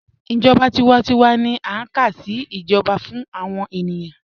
Ijọba tiwántíwà ni a ká sí ijọba fún awọn ènìyàn